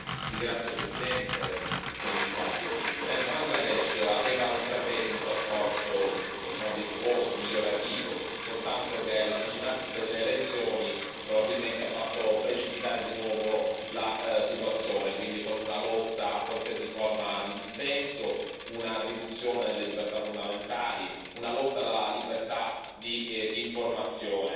Signor Presidente, onorevoli colleghi, signor Commissario, il Bangladesh aveva intrapreso un percorso virtuoso, migliorativo, soltanto che l'avvicinarsi delle elezioni probabilmente ha fatto precipitare di nuovo la situazione, quindi con una lotta a qualsiasi forma di dissenso, una riduzione delle libertà fondamentali, una lotta alla libertà di informazione